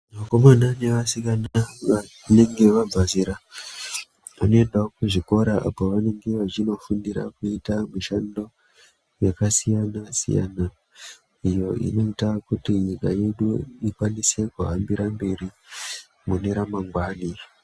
Vakomana nevasikana vanenga vabve zera vanendawo kuzvikora apo vanenga vachinofundira kuita mushando yakasiyana siyana iyo inoita kuti nyika yedu ikwanise kuhambira mberi mune ramangwani.